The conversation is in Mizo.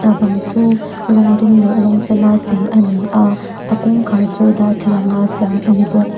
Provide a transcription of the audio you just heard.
a bang chu rawng duh leh rawng sen a chei a ni a a kawngkhar chu darthlalang a siam a ni bawk.